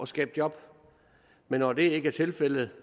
skabe job men når det ikke er tilfældet